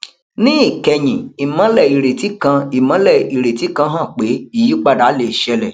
ní ìkẹyìn ìmólè ìrètí kan ìmólè ìrètí kan hàn pé ìyípadà le ṣẹlẹ